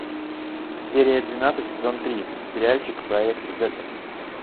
серия двенадцать сезон три сериальчик проект зета